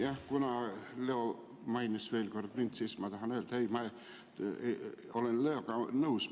Jah, kuna Leo mainis veel kord mind, siis ma tahan öelda: ma olen nõus.